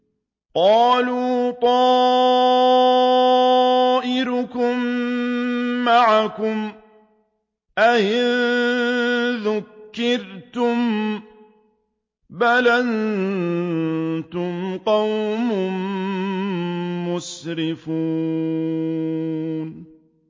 قَالُوا طَائِرُكُم مَّعَكُمْ ۚ أَئِن ذُكِّرْتُم ۚ بَلْ أَنتُمْ قَوْمٌ مُّسْرِفُونَ